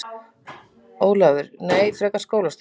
Ólafur: Nei, frekar skólastjórann.